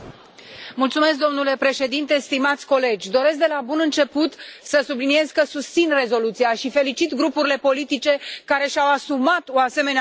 Domnule președinte, stimați colegi, doresc de la bun început să subliniez că susțin rezoluția și felicit grupurile politice care și au asumat o asemenea revoluție.